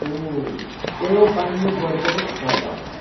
او، تۄہہِ ٲوٕ پنٛنہِ دورٕ پٮ۪ٹھٕ گھرٕ واپس؟